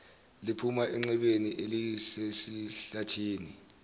liphuma enxebeni elisesihlathini